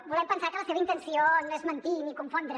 volem pensar que la seva intenció no és mentir ni confondre